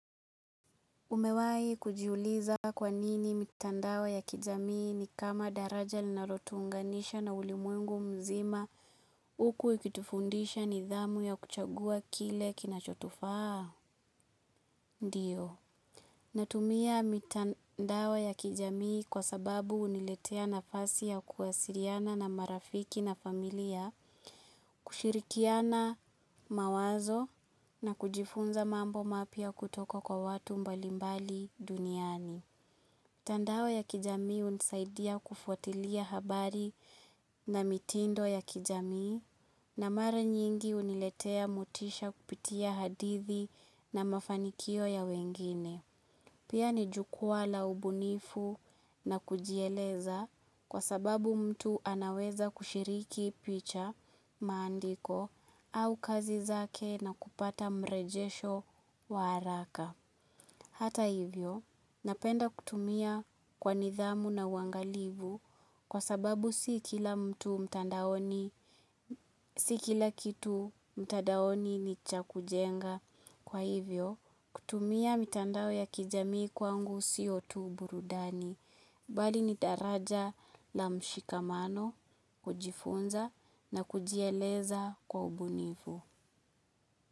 Umewahi kujiuliza kwa nini mitandao ya kijamii ni kama daraja linalo tuunganisha na ulimwengu mzima huku ikitufundisha nidhamu ya kuchagua kile kinachotufaa? Ndiyo. Natumia mitandao ya kijamii kwa sababu huniletea nafasi ya kuwasiliana na marafiki na familia, kushirikiana mawazo na kujifunza mambo mapya kutoka kwa watu mbalimbali duniani. Mitandao ya kijamii hunisaidia kufuatilia habari na mitindo ya kijamii na mara nyingi huniletea motisha kupitia hadithi na mafanikio ya wengine. Pia ni jukwaa la ubunifu na kujieleza kwa sababu mtu anaweza kushiriki picha maandiko au kazi zake na kupata mrejesho wa haraka. Hata hivyo, napenda kutumia kwa nidhamu na uangalifu kwa sababu si kila mtu mtandaoni, si kila kitu mtandaoni ni cha kujenga. Kwa hivyo, kutumia mitandao ya kijami kwangu siyo tu burudani. Bali ni daraja la mshikamano, kujifunza na kujieleza kwa ubunifu.